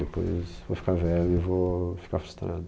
Depois vou ficar velho e vou ficar frustrado.